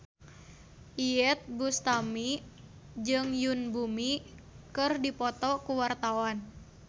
Iyeth Bustami jeung Yoon Bomi keur dipoto ku wartawan